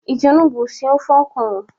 Iji onugbo sie ofe ọkwụrụ?